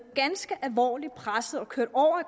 ganske alvorligt pressede og kørt over